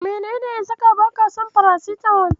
Menene ya saka baka son farasitamol?